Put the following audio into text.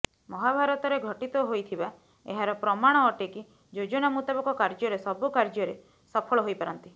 ମହାଭାରତରେ ଘଟିତ ହୋଇଥିବା ଏହାର ପ୍ରମାଣ ଅଟେ କି ଯୋଜନା ମୁତାବକ କାର୍ଯ୍ୟରେ ସବୁ କାର୍ଯ୍ୟରେ ସଫଳ ହୋଇପାରନ୍ତି